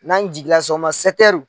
N'an jiginla sɔgɔma